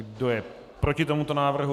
Kdo je proti tomuto návrhu?